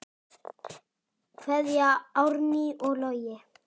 Kveðja, Árný og Logi.